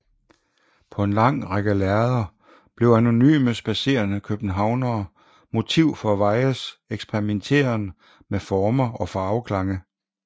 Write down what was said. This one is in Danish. På en lang række lærreder blev anonyme spadserende københavnere motiv for Weies eksperimenteren med former og farveklange